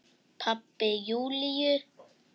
Pabbi Júlíu?